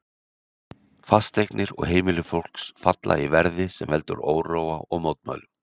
Fasteignir og heimili fólks falla því verði, sem veldur óróa og mótmælum.